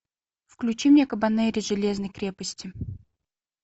включи мне кабанери железной крепости